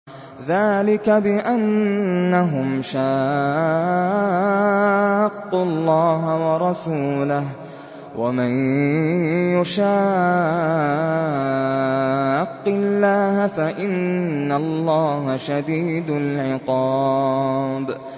ذَٰلِكَ بِأَنَّهُمْ شَاقُّوا اللَّهَ وَرَسُولَهُ ۖ وَمَن يُشَاقِّ اللَّهَ فَإِنَّ اللَّهَ شَدِيدُ الْعِقَابِ